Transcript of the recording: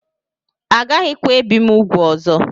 Agaghịkwa ebi m úgwù ọzọ